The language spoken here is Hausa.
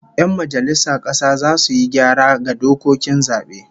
Yan majalisar kasa zasu yi gyara ga dokokin zabe